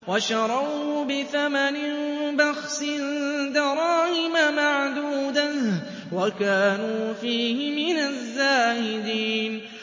وَشَرَوْهُ بِثَمَنٍ بَخْسٍ دَرَاهِمَ مَعْدُودَةٍ وَكَانُوا فِيهِ مِنَ الزَّاهِدِينَ